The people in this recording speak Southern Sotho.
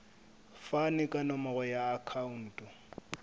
fane ka nomoro ya akhauntu